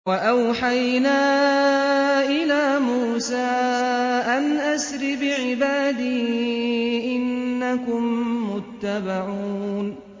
۞ وَأَوْحَيْنَا إِلَىٰ مُوسَىٰ أَنْ أَسْرِ بِعِبَادِي إِنَّكُم مُّتَّبَعُونَ